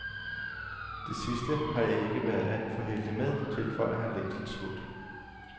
Det sidste har jeg ikke været alt for heldig med, tilføjer han længselsfuldt.